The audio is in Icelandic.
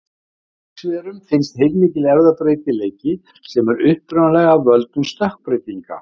Í lífverum finnst heilmikill erfðabreytileiki sem er upprunalega af völdum stökkbreytinga.